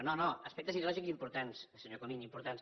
no no aspectes ideològics importants senyor comín importants